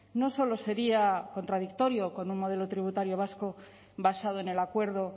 no solo sería contradictorio con un modelo tributario vasco basado en el acuerdo